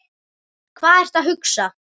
Hvað ertu að hugsa?